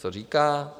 Co říká?